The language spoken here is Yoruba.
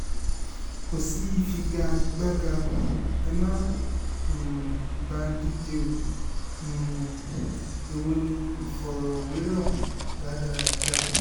kò sí ìfigagbága ẹ má um bà á díje o um èwo ni ìfọ̀rọ̀wérọ̀ rádaràda